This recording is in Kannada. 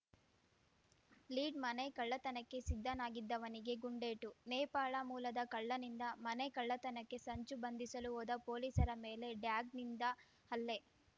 ಲೀಡ್‌ ಮನೆ ಕಳ್ಳತನಕ್ಕೆ ಸಿದ್ಧನಾಗಿದ್ದವನಿಗೆ ಗುಂಡೇಟು ನೇಪಾಳ ಮೂಲದ ಕಳ್ಳನಿಂದ ಮನೆ ಕಳ್ಳತನಕ್ಕೆ ಸಂಚು ಬಂಧಿಸಲು ಹೋದ ಪೊಲೀಸರ ಮೇಲೆ ಡ್ಯಾಗ್ ನಿಂದ ಹಲ್ಲೆ